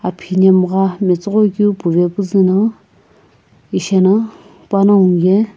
aphinemgha metsughoi keu puve puzu no isheno panongu ye--